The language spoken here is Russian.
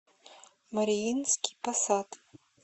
мариинский посад